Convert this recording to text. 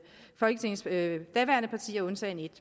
folketingets daværende partier undtagen et